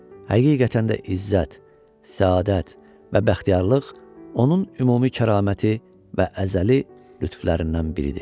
Həqiqətən də izzət, səadət və bəxtiyarlıq onun ümumi kəraməti və əzəli lütflərindən biridir.